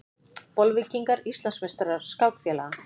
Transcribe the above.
Bolvíkingar Íslandsmeistarar skákfélaga